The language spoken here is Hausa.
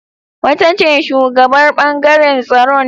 Wata mata ce shugabar ɓangaren tsaron